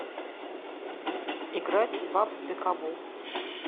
играть в апп пикабу